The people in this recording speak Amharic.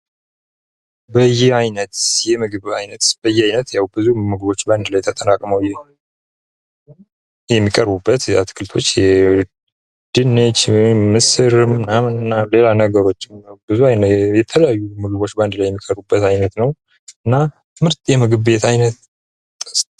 በየአይነት የምግብ ዓይነት፡ ያው ብዙ ምግቦች ባንድ ላይ የተጠራቅመው የሚቀሩበት የአትክልቶች ድንች፣ ምስር ምናምን ምናምን ሌላ ነገሮችም የተለያዩ ምግቦች በአንድ ላይ የሚቀርቡበት አይነት ነው። እና ምርጥ የምግብ ቤት አይነት።